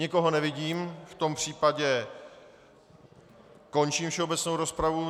Nikoho nevidím, v tom případě končím všeobecnou rozpravu.